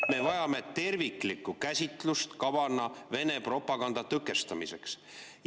Me vajame terviklikku käsitlust kavana Vene propaganda tõkestamiseks.